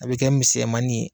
A bɛ kɛ misɛmanin ye.